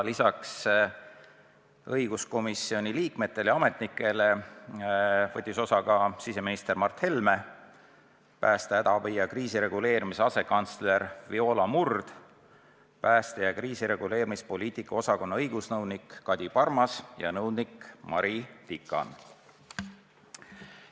Lisaks õiguskomisjoni liikmetele ja ametnikele võtsid osa ka siseminister Mart Helme, pääste, hädaabi ja kriisireguleerimise asekantsler Viola Murd, pääste- ja kriisireguleerimispoliitika osakonna õigusnõunik Kadi Parmas ja nõunik Mari Tikan.